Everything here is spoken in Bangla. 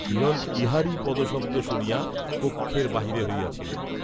হিরণ ইহারই পদশব্দ শুনিয়া কক্ষের বাহির হইয়াছিলেন।